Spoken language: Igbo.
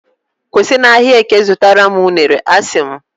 kwụsị na ahịa eke zụtara m unere, a sị m